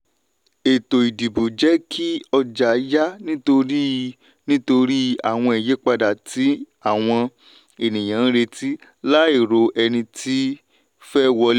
ètò ìdìbò jẹ́ kí ọjà yà nítorí nítorí àwọn ìyípadà tí àwọn ènìyàn retí láì ro ẹni tí fẹ́ wọlé.